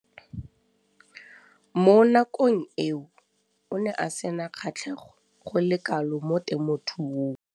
Mo nakong eo o ne a sena kgatlhego go le kalo mo temothuong.